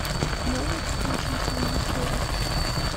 можешь включить визитеры